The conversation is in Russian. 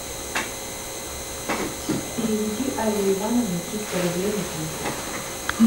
переведи алле ивановне триста рублей на телефон